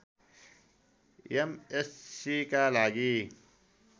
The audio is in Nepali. एमएस्सीका लागि